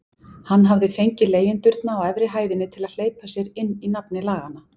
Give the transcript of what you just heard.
Hann hafði fengið leigjendurna á efri hæðinni til að hleypa sér inn í nafni laganna.